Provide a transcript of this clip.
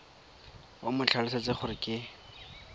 o mo tlhalosetse gore ke